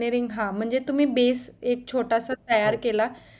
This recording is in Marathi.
म्हणजे engineering हा तुम्ही base एक छोटासा तयार केला